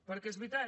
perquè és veritat